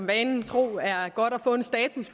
vanen tro er godt at få en status